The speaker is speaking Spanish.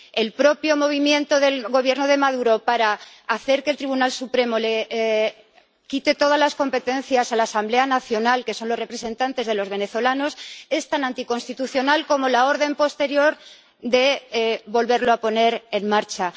El propio movimiento del Gobierno de Maduro para hacer que el Tribunal Supremo quite todas las competencias a la Asamblea Nacional, que es la representante de los venezolanos, es tan anticonstitucional como la orden posterior de volverla a poner en marcha.